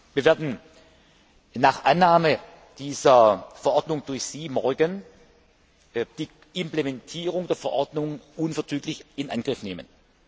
Wir werden nach Annahme dieser Verordnung durch Sie morgen die Implementierung der Verordnung unverzüglich in Angriff nehmen.